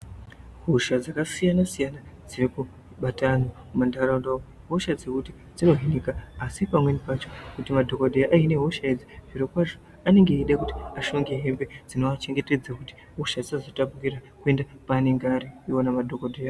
Hosha dzakasiyanasiyana dziri kubata anhu munharaunda umwu hosha dzekuti dzinohinika asi pamweni pacho kuti madhokodheya ahine hosha idzi zvirokwazvo anenge aide kuti ashonge hembe dzino achengetedze kuti hosha dzisazotapukire kuende panenge ari iwona madhokodheya.